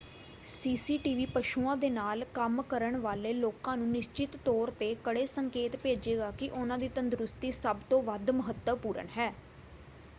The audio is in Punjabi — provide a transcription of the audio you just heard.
"ਸੀਸੀਟੀਵੀ ਪਸ਼ੂਆਂ ਦੇ ਨਾਲ ਕੰਮ ਕਰਨ ਵਾਲੇ ਲੋਕਾਂ ਨੂੰ ਨਿਸ਼ਚਤ ਤੌਰ 'ਤੇ ਕੜੇ ਸੰਕੇਤ ਭੇਜੇਗਾ ਕਿ ਉਨ੍ਹਾਂ ਦੀ ਤੰਦਰੁਸਤੀ ਸਭ ਤੋਂ ਵੱਧ ਮਹੱਤਵਪੂਰਣ ਹੈ।